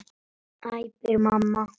æpir mamma.